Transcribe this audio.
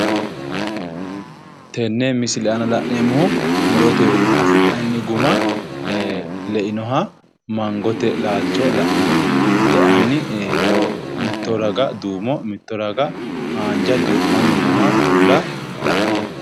Tenne misile aana la'neemmohu murotewiinni afi'nanni guma ee leinoha mangote lalcho la'neemmo leanni miito raga duumo mitto raga haanja duu'manni nooha bulla la'neemmo